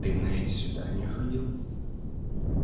ты на эти свидания ходил